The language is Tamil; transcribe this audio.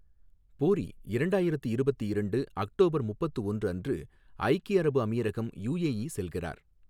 பூரி, இரண்டாயிரத்து இருபத்து இரண்டு, அக்டோபர் முப்பத்து ஒன்று அன்று ஐக்கிய அரபு அமீரகம் யுஏஇ செல்கிறார்.